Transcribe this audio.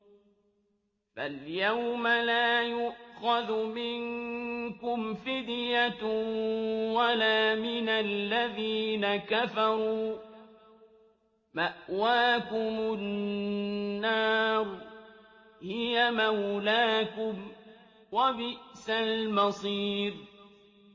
فَالْيَوْمَ لَا يُؤْخَذُ مِنكُمْ فِدْيَةٌ وَلَا مِنَ الَّذِينَ كَفَرُوا ۚ مَأْوَاكُمُ النَّارُ ۖ هِيَ مَوْلَاكُمْ ۖ وَبِئْسَ الْمَصِيرُ